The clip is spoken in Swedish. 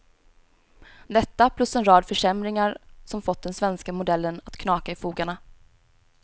Detta plus en rad försämringar som fått den svenska modellen att knaka i fogarna.